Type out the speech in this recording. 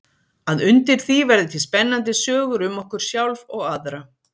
Að undir því verði til spennandi sögur um okkur sjálf og aðra.